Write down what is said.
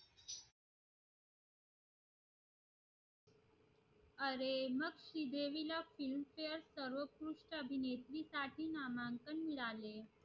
अरे मग श्री देवी ला films fare तिला सर्वकृष अभिनेत्री साठी नामांकन मिळाले